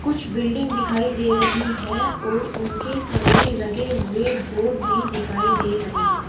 कुछ बिल्डिंग दिखाई दे रही है और उनके सामने लगे हुए बोर्ड भी दिखाई दे रहे हैं।